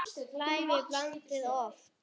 Lævi blandið loft.